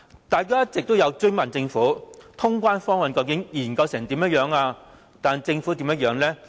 大家一直追問政府，通關方案的研究情況，但政府是怎樣的呢？